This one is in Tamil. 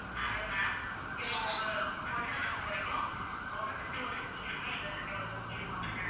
Hello ma'am இப்ப உங்க hotel ல பொருத்த வரைக்கும் உங்க கிட்ட ஒரு key இருக்கும் எங்க கிட்ட ஒரு key அப்படிதான ma'am?